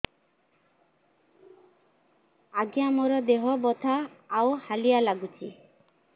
ଆଜ୍ଞା ମୋର ଦେହ ବଥା ଆଉ ହାଲିଆ ଲାଗୁଚି